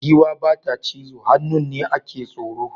Giwa ba ta cizo, hannun ne a ke tsoro.